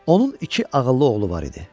Onun iki ağıllı oğlu var idi.